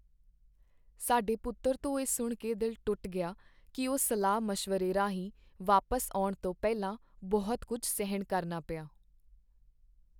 ਸਾਡੇ ਪੁੱਤਰ ਤੋਂ ਇਹ ਸੁਣ ਕੇ ਦਿਲ ਟੁੱਟ ਗਿਆ ਕਿ ਉਹ ਸਲਾਹ ਮਸ਼ਵਰੇ ਰਾਹੀਂ ਵਾਪਸ ਆਉਣ ਤੋਂ ਪਹਿਲਾਂ ਬਹੁਤ ਕੁੱਝ ਸਹਿਣ ਕਰਨਾ ਪਿਆ